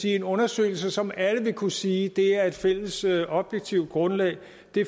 en undersøgelse som alle vil kunne sige er et fælles objektivt grundlag